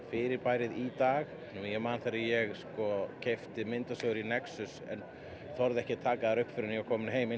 fyrirbærið í dag ég man þegar ég keypti myndasögur í nexus en þorði ekki að taka þær upp fyrr en ég var kominn heim